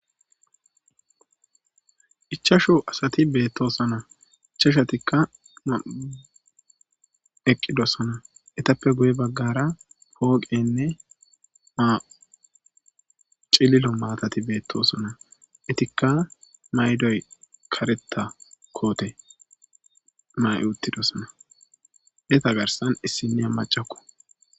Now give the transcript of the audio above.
Ichchashu asati beetosona. Ichchashatika eqqosona. Eetape guye baggara pooqeyne cillilo maatay beetosona .Eetika kareththa mayo mayidosona. Eeta giddon issiniya maccako.